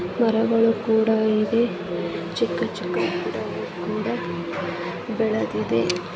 ಮರಗಳು ಕೂಡ ಇದೆ ಚಿಕ್ಕ ಚಿಕ್ಕಪುಟ್ಟ ಗಿಡಗಳು ಕೂಡ ಬೆಳೆದಿದೆ.